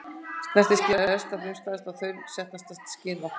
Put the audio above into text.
Snertiskynið er elsta, frumstæðasta og þaulsetnasta skyn okkar.